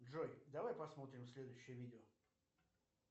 джой давай посмотрим следующее видео